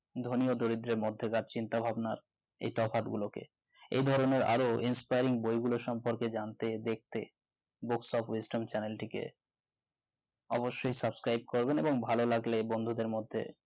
ধনিও দরিদ্রের মধ্যে বা চিন্তা ভাবনার এই তফাৎ গুলোকে এই ধরনের আরো inspiring বইগুলো সম্পর্কে জানতে দেখতে books books of western channel টিকে অবশ্যই subscribe করবেন এবং ভালো লাগলে বন্ধুদের মধ্যে